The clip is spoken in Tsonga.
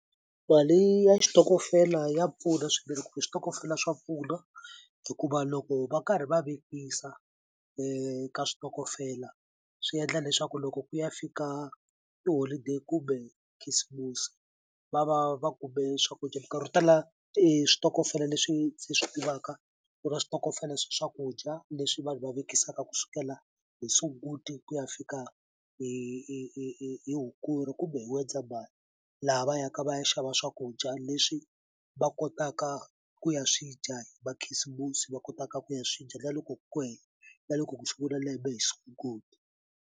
Mali ya xitokofela ya pfuna swinene ku switokofela swa pfuna hikuva loko va karhi va vekisa ka switokofela swi yendla leswaku loko ku ya fika tiholideyi kumbe khisimusi va va va kume swakudya minkarhi yo tala switokofela leswi ndzi swi tivaka ku na switokofela swa swakudya leswi vanhu va vekisaka kusukela hi Sunguti ku ya fika hi hi hi hi Hukuri kumbe hi N'wendzamhala laha va yaka va ya xava swakudya leswi va kotaka ku ya swi dya hi makhisimusi va kotaka ku ya swi dya na loko ku na loko ku sungula lembe hi Sunguti.